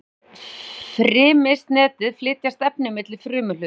um frymisnetið flytjast efni milli frumuhluta